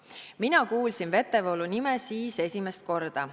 / Mina kuulsin Vetevoolu nime siis esimest korda.